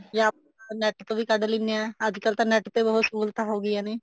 ਜਾਂ ਆਪਾਂ net ਤੋਂ ਵੀ ਕੱਢ ਲੈਂਦੇ ਹਾਂ ਅੱਜਕਲ ਤਾਂ net ਤੇ ਬਹੁਤ ਸਹੂਲਤਾਂ ਹੋ ਗਈਆਂ ਨੇ